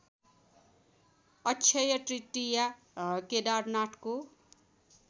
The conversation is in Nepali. अक्षय तृतीया केदारनाथको